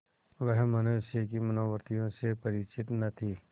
वह मनुष्य की मनोवृत्तियों से परिचित न थी